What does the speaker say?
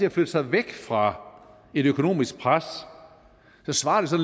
at flytte sig væk fra et økonomisk pres svarer